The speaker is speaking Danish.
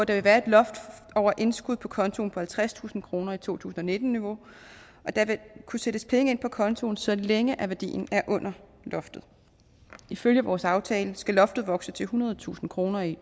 vil være et loft over indskud på kontoen på halvtredstusind kroner i to tusind og nitten niveau og der vil kunne sættes penge ind på kontoen så længe værdien er under loftet ifølge vores aftale skal loftet vokse til ethundredetusind kroner i